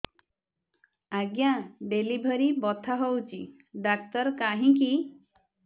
ଆଜ୍ଞା ଡେଲିଭରି ବଥା ହଉଚି ଡାକ୍ତର କାହିଁ କି